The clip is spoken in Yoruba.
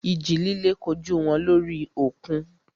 Ìjì líle kojú wọn lórí òkun.